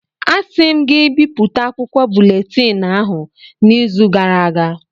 Asị m gị bipụta akwụkwọ buletịn ahụ n' izu gara aga!